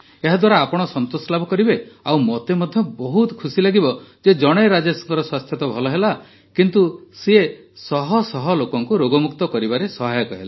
ଏହାଦ୍ୱାରା ଆପଣ ସନ୍ତୋଷ ଲାଭ କରିବେ ଆଉ ମୋତେ ମଧ୍ୟ ବହୁତ ଖୁସି ଲାଗିବ ଯେ ଜଣେ ରାଜେଶଙ୍କ ସ୍ୱାସ୍ଥ୍ୟ ତ ଭଲ ହେଲା କିନ୍ତୁ ସେ ଶହ ଶହ ଲୋକଙ୍କୁ ରୋଗମୁକ୍ତ କରିବାରେ ସହାୟକ ହେଲେ